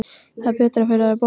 Það er betra fyrir þær báðar.